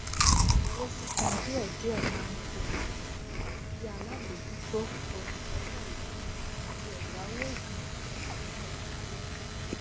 owó sísan díẹdíẹ máa ki ara rẹ bíi alábòójútó olùgbẹkẹlé àti ẹyáwó ìkànnì ní nàìjíríà